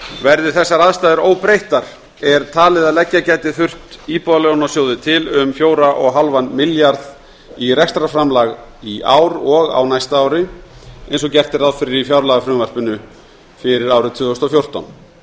verði þessar aðstæður óbreyttar er talið að leggja gæti þurft íbúðalánasjóði til um fjörutíu og fimm milljarða í rekstrarframlag í ár og á næsta ári eins og gert er ráð fyrir í fjárlagafrumvarpinu fyrir árið tvö þúsund og fjórtán